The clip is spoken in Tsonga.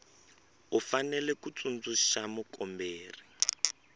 u fanele ku tsundzuxa mukomberi